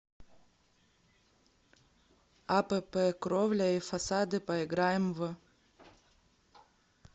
апп кровля и фасады поиграем в